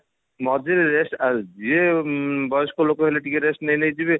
ମଝିରେ rest ଆଉ ଯିଏ ବୟସ୍କ ଲୋକ ହେଲେ ଟିକେ rest ନେଇ ନେଇ ଯିବେ